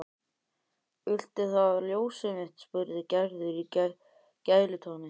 Viltu það ljósið mitt? spurði Gerður í gælutóni.